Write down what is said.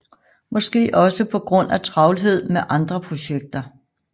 Måske også på grund af travlhed med andre projekter